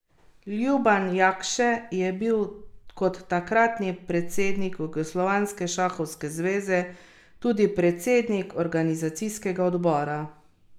Ljuban Jakše je bil, kot takratni predsednik jugoslovanske šahovske zveze, tudi predsednik organizacijskega odbora.